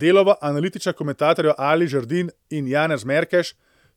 Delova analitična komentatorja Ali Žerdin in Janez Markeš